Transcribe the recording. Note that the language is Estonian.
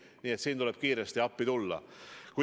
Nii et siin tuleb kiiresti appi tulla.